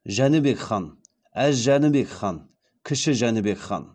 жәнібек хан әз жәнібек хан кіші жәнібек хан